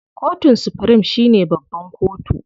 Kotun supirim shine babban kotu.